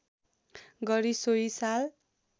गरी सोही साल